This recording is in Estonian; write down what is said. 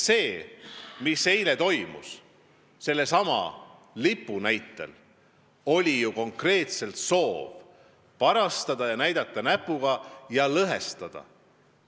See, mis eile toimus sellesama lipu pärast, oli ju konkreetselt soov parastada, näidata näpuga ja lõhestada.